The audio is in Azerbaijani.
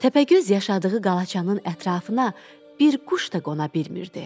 Təpəgöz yaşadığı qalaçanın ətrafına bir quş da qona bilmirdi.